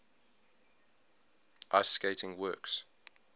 ice skating works